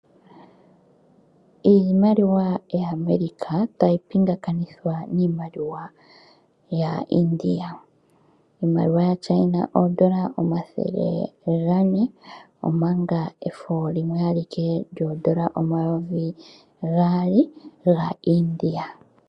Iimaliwa yaAmerika tayi pingakanithwa niimaliwa yaIndia. Iimaliwa yaChina oondola omathele gane omanga efo limwe alike lyoondola omayovi gaali gaIndia.